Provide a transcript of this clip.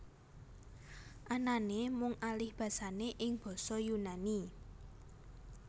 Anané mung alihbasané ing basa Yunani